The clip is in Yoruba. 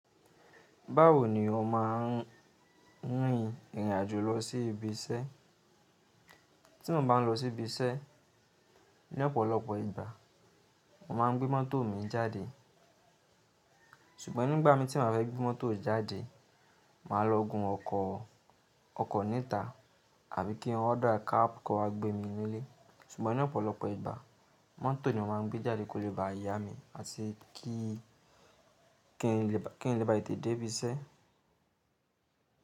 Báwo ni o má n rìn ìrìn àjò lọ sí ibi iṣẹ́? Tí mo bá n lọ sí ibi iṣẹ́, ní ọ̀pọ̀lọpọ̀ ìgbà, mo má n gbé mọ́tò mi jáde. Ṣùgbọ́n nígbà mi tí mo fẹ́ gbé mọ́tò jáde, màá lọ gun ọkọ̀, ọkọ̀ níta àbí kí ọ́dà cab kó wá gbé mi nílé. Ṣùgbọ́n ní ọ̀pọ̀lọpọ̀ ìgbà, mọ́tò ni màá n gbé jáde kó lè bá ìyá mi àti kí, kí n lè bá, kí n lè bá tètè dé ibi iṣẹ́.